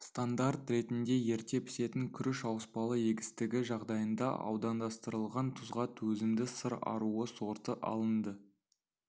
стандарт ретінде ерте пісетін күріш ауыспалы егістігі жағдайында аудандастырылған тұзға төзімді сыр аруы сорты алынды